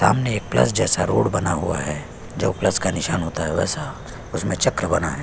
सामने एक प्लस जैसे रोड बना हुआ है जो प्लस का निशान होता है वैसा उसमे चक्र बना है।